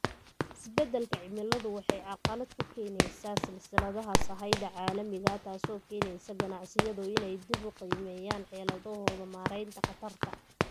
Isbeddelka cimiladu waxay carqalad ku keenaysaa silsiladaha sahayda caalamiga ah, taasoo keenaysa ganacsiyadu inay dib u qiimeeyaan xeeladahooda maaraynta khatarta.